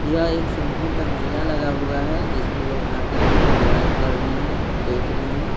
यह एक सोनपुर का मेला लगा हुआ हैजिसमें लोग आकर के एंजॉय कर रहे हैंदेख रहे हैं।